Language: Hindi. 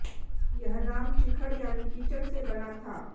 यह नाम चिखड़ यानी कीचड़ से बना था